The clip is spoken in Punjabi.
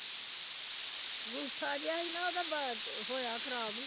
ਬੂਥਾ ਜਿਹਾ ਸੀ ਨਾ ਉਹਦਾ ਬ ਹੋਇਆ ਖ਼ਰਾਬ।